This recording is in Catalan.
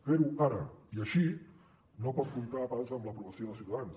fer ho ara i així no pot comptar pas amb l’aprovació de ciutadans